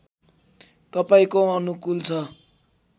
तपाईँको अनुकूल छ